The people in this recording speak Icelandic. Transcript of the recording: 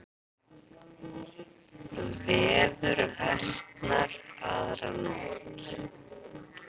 Veður versnar aðra nótt